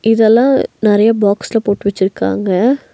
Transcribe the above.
இதெல்லாம் நெறைய பாக்ஸ்ல போட்டு வெச்சிருக்காங்க.